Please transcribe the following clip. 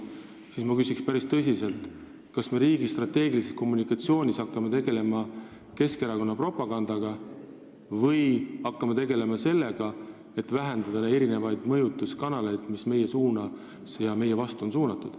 Selle peale ma küsin päris tõsiselt, kas me hakkame riigi strateegilise kommunikatsiooni vallas tegelema Keskerakonna propagandaga või sellega, et vähendada neid mõjutuskanaleid, mis on meie vastu suunatud.